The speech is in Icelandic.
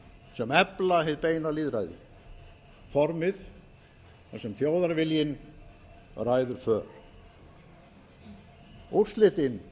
sem efla hið beina lýðræði formið þar sem þjóðarviljinn ræður för úrslitin